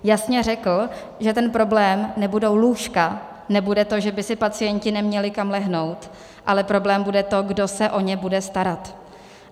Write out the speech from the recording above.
Jasně řekl, že ten problém nebudou lůžka, nebude to, že by si pacienti neměli kam lehnout, ale problém bude to, kdo se o ně bude starat.